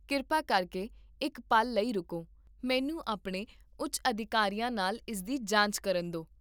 ਕਿਰਪਾ ਕਰਕੇ ਇੱਕ ਪਲ ਲਈ ਰੁਕੋ, ਮੈਨੂੰ ਆਪਣੇ ਉੱਚ ਅਧਿਕਾਰੀਆਂ ਨਾਲ ਇਸਦੀ ਜਾਂਚ ਕਰਨ ਦੇ